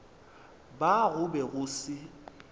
ba go be go se